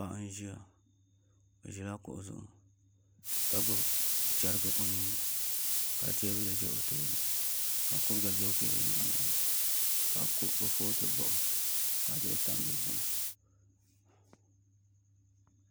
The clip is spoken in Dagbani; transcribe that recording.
Paɣa n ʒiya o ʒila kuɣu zuɣu ka gbubi chɛrigi o nuuni ka teebuli bɛ o tooni ka kuriga bɛ teebuli maa loŋni ka kurifooti baɣa ka duɣu tam dizuɣu